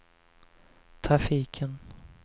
trafiken